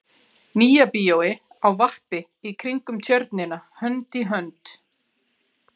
Nýja bíói á vappi í kringum Tjörnina hönd í hönd.